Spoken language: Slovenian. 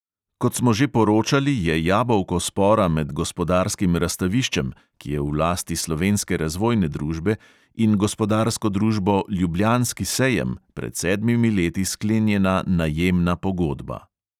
Kot smo že poročali, je jabolko spora med gospodarskim razstaviščem, ki je v lasti slovenske razvojne družbe, in gospodarsko družbo ljubljanski sejem, pred sedmimi leti sklenjena najemna pogodba.